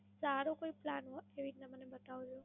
સારો કોઈ Plan કોઈ એક મને બતાવો.